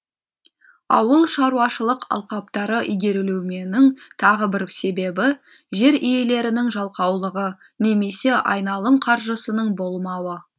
ауылшаруашылық алқаптары игерілмеуінің тағы бір себебі жер иелерінің жалқаулығы немесе айналым қаржысының болмауы